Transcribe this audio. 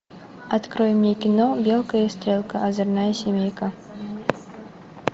открой мне кино белка и стрелка озорная семейка